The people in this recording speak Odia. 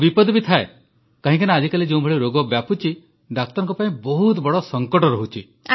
ଆଉ ବିପଦ ବି ଥାଏ କାହିଁକିନା ଆଜିକାଲି ଯେଉଁଭଳି ରୋଗ ବ୍ୟାପୁଛି ଡାକ୍ତରଙ୍କ ପାଇଁ ବହୁତ ବଡ଼ ସଙ୍କଟ ରହୁଛି